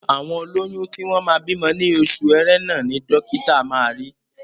Àwọn olóyún tí wọ́n máa bímọ ní oṣù Ẹrẹ́nà ni dọ́kítà máa ri.